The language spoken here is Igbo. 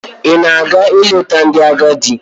Ị na-aga ileta ndị agadị?